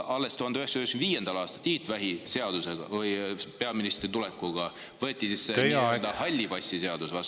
Alles 1995. aastal Tiit Vähi peaministriks tulekuga võeti see nii-öelda halli passi seadus vastu.